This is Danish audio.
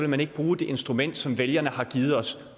man ikke bruge det instrument som vælgerne har givet os